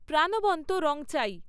প্রাণবন্ত রং চাই